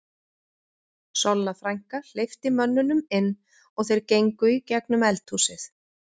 Solla frænka hleypti mönnunum inn og þeir gengu í gegnum eldhúsið.